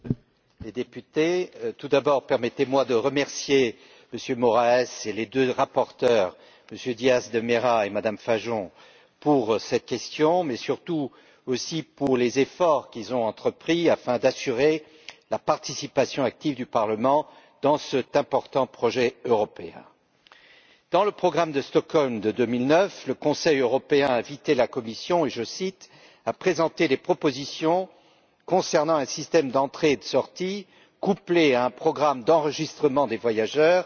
Monsieur le Président, Mesdames et Messieurs les députés, permettez moi, tout d'abord, de remercier M. Moraes et les deux rapporteurs, M. Diaz de Mera et Mme Fajon, pour cette question, mais surtout aussi pour les efforts qu'ils ont entrepris afin d'assurer la participation active du Parlement dans cet important projet européen. Dans le programme de Stockholm de 2009, le Conseil européen a invité la Commission je cite à présenter des propositions concernant un système d'entrée et de sortie couplé à un programme d'enregistrement des voyageurs